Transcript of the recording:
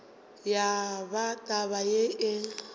ya ba taba yeo e